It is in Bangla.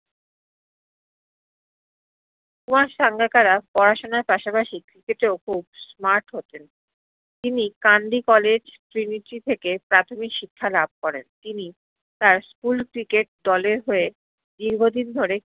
কুমার সাঙ্গাকারা পড়াশোনার পাসাপাসি cricket এও খুব smart হোতেন তিনি কান্দি college trinity থেকে প্রাথমিক শিক্ষা লাভ করেন তিনি তার school cricket দলের হয়ে দীর্ঘ দিন ধরে